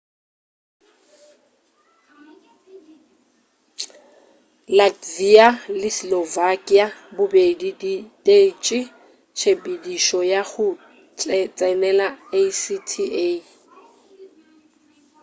latvia le slovakia bobedi di ditetše tshepedišo ya go tsenela acta